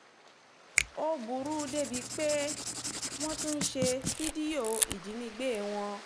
ó burú débìí burú débìí pé wọ́n tún ń ṣe fídíò ìjínigbé wọn